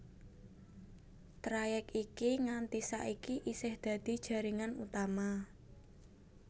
Trayèk iki nganti saiki isih dadi jaringan utama